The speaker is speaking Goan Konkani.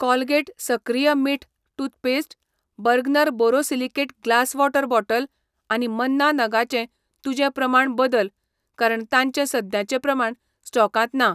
कोलगेट सक्रिय मीठ toothpaste, Bergner borosilicate glass water bottle आनी मन्ना नगांचें तुजें प्रमाण बदल कारण तांचे सद्याचे प्रमाण स्टॉकांत ना.